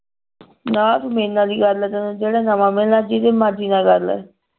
ਨਾ ਤੂੰ ਮੇਰੇ ਨਾਲ ਜਿਹੜਾ ਨਵਾਂ ਮਿਲੇ ਜਿਹਦੇ ਮਰਜੀ ਨਾਲ ਕਰਲੇ